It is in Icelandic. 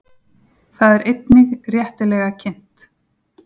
Það er einnig réttilega kynnt.